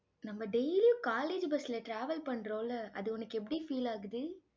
நம்ம daily யும் college bus ல travel பண்றோம்ல அது உனக்கு எப்படி feel ஆகுது?